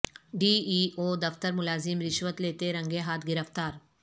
D E O دفتر ملازم رشوت لیتے رنگے ہاتھ گرفتار